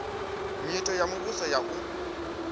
nyito ya muvhuso ya u